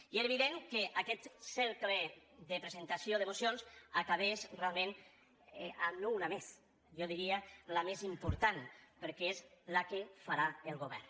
i era evident que aquest cercle de presentació de mocions acabaria realment en una més jo diria la més important perquè és la que farà el govern